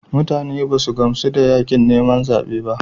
Mutane ba su gamsu da yakin neman zaben ba.